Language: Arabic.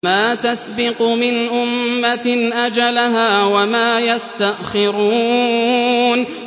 مَا تَسْبِقُ مِنْ أُمَّةٍ أَجَلَهَا وَمَا يَسْتَأْخِرُونَ